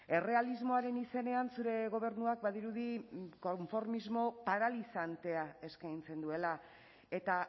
errealismoaren izenean zure gobernuak badirudi konformismo paralizantea eskaintzen duela eta